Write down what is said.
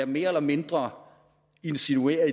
mere eller mindre insinuerer